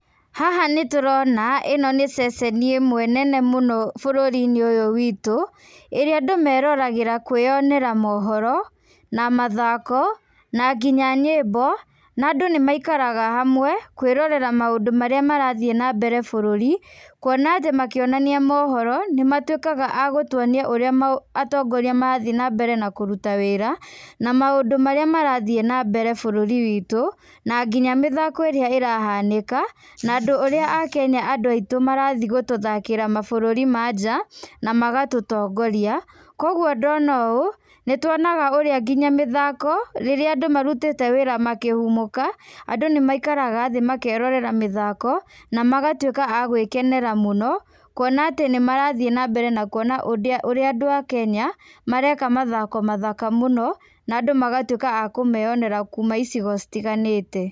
Haha nĩ tũrona, ĩno nĩ ceceni ĩmwe nene mũno bũrũri-inĩ ũyũ witũ, ĩrĩa andũ meroragĩra kwĩyonera mohoro, na mathako, na nginya nyĩmbo, na andũ nĩ maikaraga hamwe, kwĩrorera maũndũ marĩa marathiĩ na mbere bũrũri, kuona atĩ makĩonania mohoro, nĩmatuĩkaga a gũtuonia ũrĩa atongoria marathi na mbere na kũruta wĩra, na maũndũ marĩa marathiĩ na mbere bũrũri witũ, na nginya mĩthako ĩrĩa ĩrahanĩka, na andũ ũrĩa Akenya andũ aitũ marathi gũtũthakĩra mabũrũri ma nja, na magatũtongoria, kũguo ndona ũũ, nĩ tuonaga ũrĩa nginya mĩthako, rĩrĩa andũ marutĩte wĩra makĩhumũka, andũ nĩ maikaraga thĩ makerorera mĩthako, na magatuĩka a gwĩkenera mũno, kuona atĩ nĩ marathiĩ na mbere na kuona ũrĩa andũ a kenya mareka mathako mathaka mũno na andũ magatuĩka a kũmeyonera kuuma icigo citiganĩte.